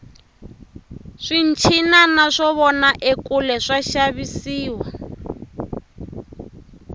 swinchinana swo vona ekule swa xavisiwa